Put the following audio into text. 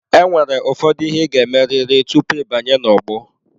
Enwere ụfọdụ ihe ị ga-emerịrị tupu ịbanye n'ogbo.